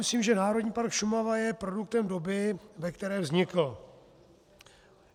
Myslím, že Národní park Šumava je produktem doby, ve které vznikl.